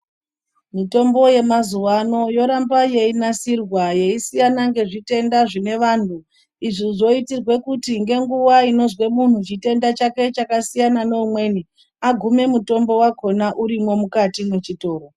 Mitombo yemazuwano yoramba yeinasirwa yeisiyana ngezvitenda zvine vanhu izvi zvoitirwa kuti ngenguwa inozwe munhu chitenda chake chakasiyana neumweni agume mutombo wakona urimo mukati mwechotoro.